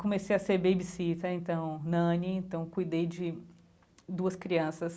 Comecei a ser babysitter, então, nanny, então, cuidei de duas crianças.